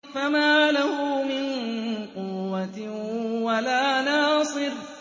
فَمَا لَهُ مِن قُوَّةٍ وَلَا نَاصِرٍ